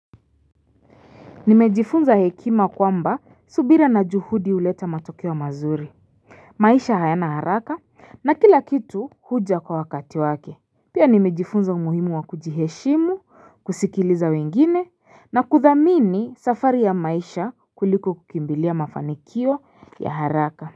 Nimejifunza hekima kwamba subira na juhudi huleta matokeo mazuri maisha hayana haraka na kila kitu huja kwa wakati wake Pia nimejifunza umuhimu wa kujiheshimu kusikiliza wengine na kuthamini safari ya maisha kuliko kukimbilia mafanikio ya haraka.